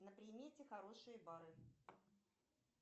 на примете хорошие бары